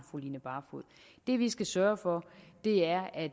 fru line barfod det vi skal sørge for er at